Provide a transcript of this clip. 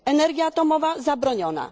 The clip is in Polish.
energia atomowa zabroniona